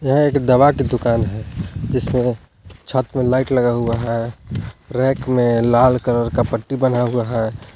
यह एक दवा की दुकान हैजिसमें छत में लाइट लगा हुआ है रैक में लाल कलर का पट्टी बना हुआ है।